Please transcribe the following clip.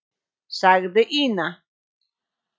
sagði Ína.